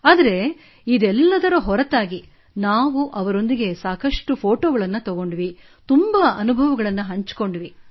ಆದರೆ ಇದೆಲ್ಲದರ ಹೊರತಾಗಿ ನಾವು ಅವರೊಂದಿಗೆ ಸಾಕಷ್ಟು ಫೋಟೊ ತೆಗೆದುಕೊಂಡೆವು ಸಾಕಷ್ಟು ಅನುಭವಗಳನ್ನು ಹಂಚಿಕೊಂಡೆವು